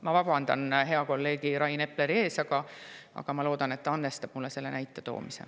Ma vabandan hea kolleegi Rain Epleri ees, aga ma loodan, et ta andestab mulle selle näite toomise.